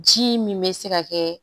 Ji min bɛ se ka kɛ